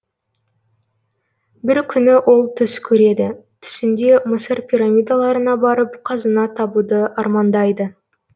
бір күні ол түс көреді түсінде мысыр пирамидаларына барып қазына табуды армандайды